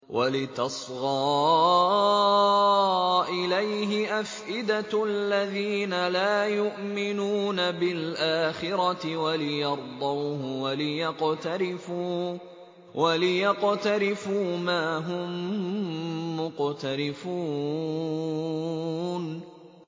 وَلِتَصْغَىٰ إِلَيْهِ أَفْئِدَةُ الَّذِينَ لَا يُؤْمِنُونَ بِالْآخِرَةِ وَلِيَرْضَوْهُ وَلِيَقْتَرِفُوا مَا هُم مُّقْتَرِفُونَ